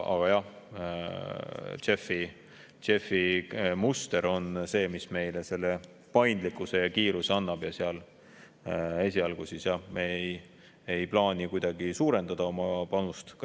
Aga jah, JEF‑i muster on see, mis meile selle paindlikkuse ja kiiruse annab, ja seal esialgu me ei plaani kuidagi suurendada oma panust.